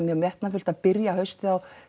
mjög metnaðarfullt að byrja haustið á